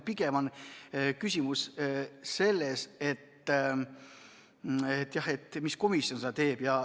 Pigem on küsimus selles, mis komisjon seda teeb.